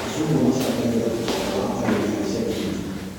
Macungwa macangagĩra ũtonga wa arĩmi a icagi-inĩ